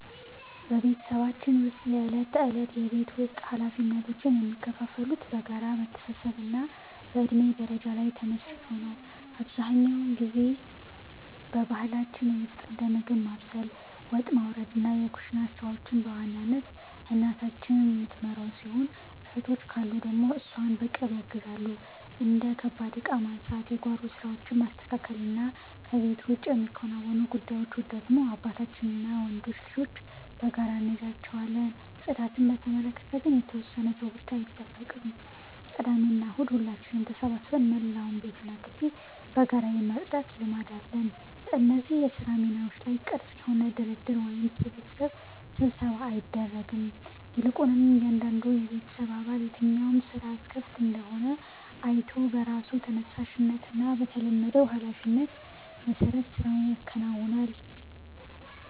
በቤተሰባችን ውስጥ የዕለት ተዕለት የቤት ውስጥ ኃላፊነቶች የሚከፋፈሉት በጋራ መተሳሰብና በእድሜ ደረጃ ላይ ተመስርቶ ነው። አብዛኛውን ጊዜ በባህላችን መሠረት እንደ ምግብ ማብሰል፣ ወጥ ማውረድና የኩሽና ሥራዎችን በዋናነት እናታችን የምትመራው ሲሆን፣ እህቶች ካሉ ደግሞ እሷን በቅርብ ያግዛሉ። እንደ ከባድ ዕቃ ማንሳት፣ የጓሮ ሥራዎችን ማስተካከልና ከቤት ውጭ የሚከናወኑ ጉዳዮችን ደግሞ አባታችንና ወንዶች ልጆች በጋራ እንይዛቸዋለን። ጽዳትን በተመለከተ ግን የተወሰነ ሰው ብቻ አይጠብቅም፤ ቅዳሜና እሁድ ሁላችንም ተሰባስበን መላውን ቤትና ግቢ በጋራ የማጽዳት ልማድ አለን። በእነዚህ የሥራ ሚናዎች ላይ ግልጽ የሆነ ድርድር ወይም ስብሰባ አይደረግም፤ ይልቁንም እያንዳንዱ የቤተሰብ አባል የትኛው ሥራ ክፍት እንደሆነ አይቶ በራሱ ተነሳሽነትና በለመደው ኃላፊነት መሠረት ሥራውን ያከናውናል።